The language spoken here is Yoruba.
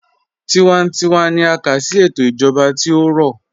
Tíwántíwá ní à ká sí ètò ìjọba tí ó rọ̀.